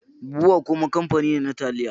Bua kuma kamfani ne na taliya.